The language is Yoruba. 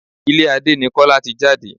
Ilé Adé ni Kọ́lá ti jáde.